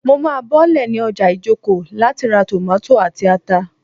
Mo má bọ́lẹ̀ ní ọjà Ijoko láti ra tòmátò àti ata